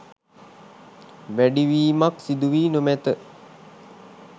වැඩිවීමක් සිදුවී නොමැත.